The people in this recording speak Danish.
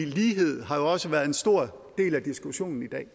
lighed har jo også været en stor del af diskussionen i dag